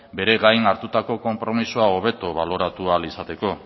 bere gain hartutako konpromisoa hobetu baloratu ahal izateko